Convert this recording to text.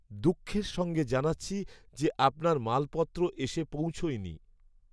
দুঃখের সঙ্গে জানাচ্ছি যে, আপনার মালপত্র এসে পৌঁছয়নি।